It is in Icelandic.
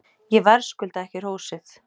Ég verðskulda ekki hrósið.